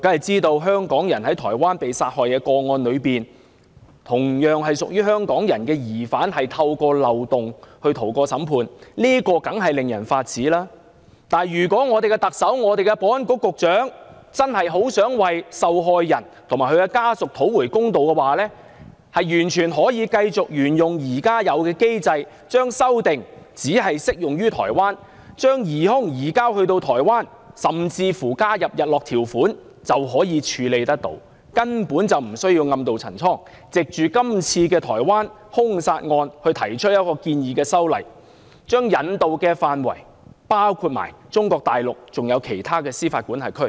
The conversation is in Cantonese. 在香港人在台灣遇害一案中，同為香港人的疑犯透過漏洞而逃過審判，這當然令人髮指；但如果香港的特首、香港的保安局局長真的想為受害人及其家屬討回公道，大可沿用現有機制，將修訂只適用於台灣，以便把疑兇移交至台灣，甚至加設日落條款，根本不需要暗渡陳倉，藉着該案件提出修例建議，將引渡範圍擴大至中國大陸及其他司法管轄區。